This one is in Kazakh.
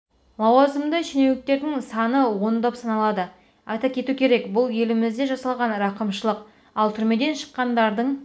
лазауазымды шенеуніктердің саны ондап саналады айта кету керек бұл елімізде жасалған рақымшылық ал түрмеден шыққандардың